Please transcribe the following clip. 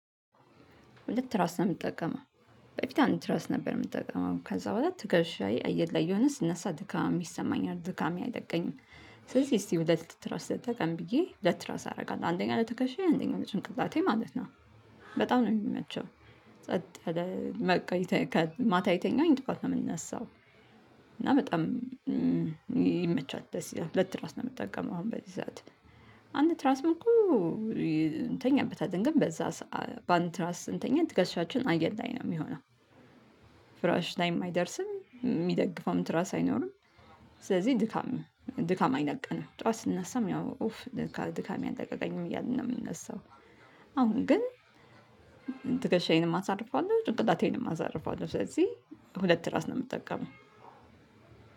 ሁለት ትራስ ነው የምጠቀመው በፊት አንዲ ራስ ነበር የምጠቀመው ከዛ በኋላ ትከሻዬ አየር ላይ እየሆነ ስነሳ ድካማ ይሰማኛል ድካሜ አይለቀኝም። ስለዚህ እስቲ ሁለት ትራስ ልጠቀም ብዬ ሁለት ትራስ አደርጋለሁ አንደኛው ለተከሻዬ አንደኛው ለጭንቅላቴ ማለት ነው። በጣም ነው የሚመቸው። ጸጥ ያለ ማታ የተኛሁኝ ጧት ነው የምነሳው። እና በጣም ይመቻል ደስ ይላል ሁለት ትራስ ነው የምጠቀመው። አንድ ትራስም እኮ። እንተኛበታለን ግን በዛ በአንድ ትራስ ስንተኛ ትከሻችን አየር ላይ ነው የሚሆነው። ፍራሽ ላይም አይደርስም የሚደግፈውም ትራስ አይኖርም። ስለዚህ ድካም ድካም አይለቀንም ጥዋት ስነሳም ያው ኡፍ ድካም አለቀቀኝም እያልን ነው የምንነሳው። አሁን ግን ትከሻዬንም አሳርፋለሁ ጭንቅላቴንም አሳርፋሁ ስለዚህ ሁለት ትራስ ነው የምጠቀመው።